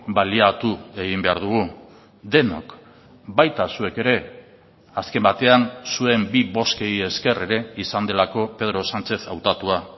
baliatu egin behar dugu denok baita zuek ere azken batean zuen bi bozkei esker ere izan delako pedro sánchez hautatua